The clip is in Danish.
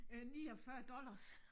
Øh 49 dollars